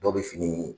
Dɔw bɛ fini